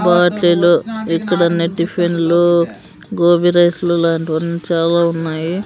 పార్టిలు ఇక్కడ అన్ని టిఫిన్లు గోబీ రైస్లు లాంటివి అన్ని చాలా ఉన్నాయి.